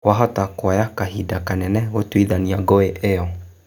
Kwa-hota kuoya kahinda kanene gũtuithania ngũĩ ĩyo.